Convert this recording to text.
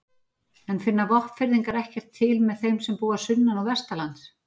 En finna Vopnfirðingar ekkert til með þeim sem búa sunnan- og vestanlands?